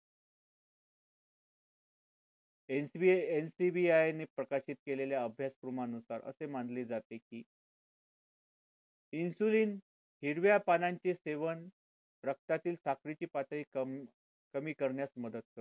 HBNCBI ने प्रकाशित केलेल्या अभ्यासक्रमा नुसार असे मानले जाते की insulin हिरव्या पानांची सेवन, रक्तातील साखरेची पातळी कमी कमी करण्यात मदत करते